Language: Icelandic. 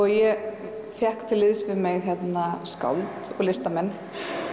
ég fékk til liðs við mig skáld og listamenn